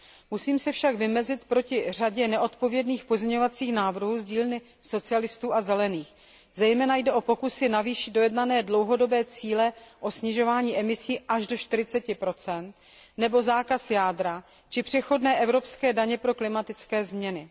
Musím se však ohradit proti řadě nezodpovědných pozměňovacích návrhů z dílny Socialistů a Zelených, zejména jde o pokusy navýšit dojednané dlouhodobé cíle o snižování emisí až do 40 nebo zákaz jádra či přechodné evropské daně pro klimatické změny.